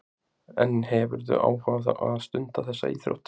Hugrún: En hefurðu áhuga á að stunda þessa íþrótt?